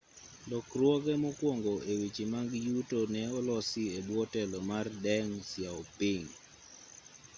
lokruoge mokuongo e weche mag yuto ne olosi e bwo telo mar deng xiaoping